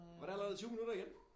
Var det allerede 20 minutter igen?